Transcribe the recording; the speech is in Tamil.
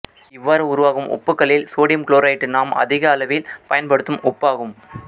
இவ்வாறு உருவாகும் உப்புக்களில் சோடியம் குளோரைட்டு நாம் அதிகளவில் பயன்படுத்தும் உப்பாகும்